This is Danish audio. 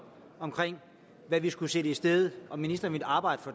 hvad vi skulle sætte i stedet og om ministeren ville arbejde for